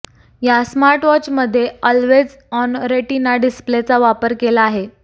या स्मार्टवॉचमध्ये always on retina डिस्प्लेचा वापर केला आहे